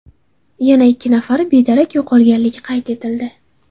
Yana ikki nafari bedarak yo‘qolganligi qayd etildi.